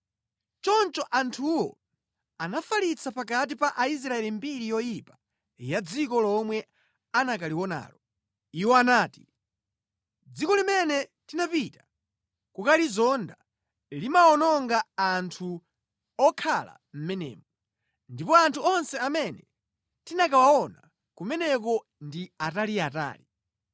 Choncho anthuwo anafalitsa pakati pa Aisraeli mbiri yoyipa ya dziko lomwe anakalionalo. Iwo anati, “Dziko limene tinapita kukalizonda limawononga anthu okhala mʼmenemo. Ndipo anthu onse amene tinakawaona kumeneko ndi ataliatali.